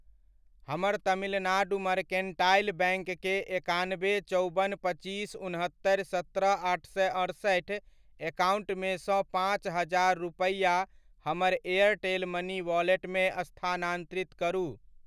हमर Tamilnad mercantile bank के एकानबे चौबन पच्चीस उनहत्तरि सत्रह आठ सए अड़सठि एकाउन्ट मे सँ पचास हजार रुपैआ हमर एयरटेल मनी वॉलेट मे स्थानान्तरित करू।